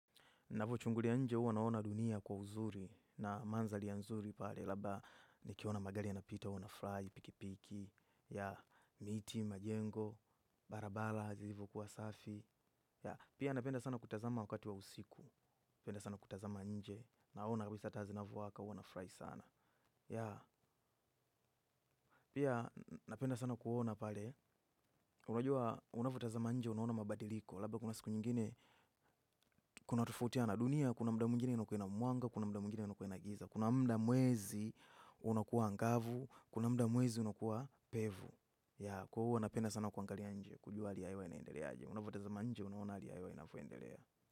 Navochungulia nje huwa naona dunia kwa uzuri na mandhari ya nzuri pale. Labda nikiona magari yanapita huwa nafurahi, pikipiki, miti, majengo, barabara ilivyokuwa safi. Pia napenda sana kutazama wakati wa usiku. Napenda sana kutazama nje. Naona kabisa taa zinavyowaka huwa nafurahi sana. Pia napenda sana kuona pale. Unajua, unavyotazama nje unaona mabadiliko. Labda kuna siku nyingine, kuna tofautiana. Dunia kuna mda mwezi unokuwa angavu, kuna mda mwezi unokuwa pevu. Kuhu wanapenda sana kuangali anje, kujua li ayo inaendelea aje. Unavotazama nje, unaona ali ya hewa inavoendelea.